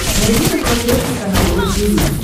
найди на смотрешке канал ру ти ви